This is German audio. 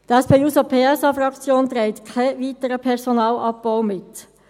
Die SP-JUSOPSA-Fraktion trägt keinen weiteren Personalabbau mit.